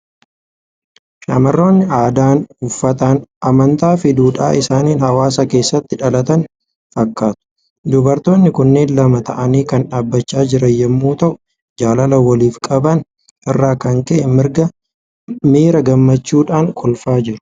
Shamarroonni aadaan, uffataan, amantaa fi duudhaa isaaniin hawaasa keessatti dhalatan fakkaatu. Dubartoonni kunneen lama ta'anii kan dhaabachaa jiran yommuu ta'u, jaalala waliif qaban irraa kan ka'e miira gammachuudhaan kolfaa jiru!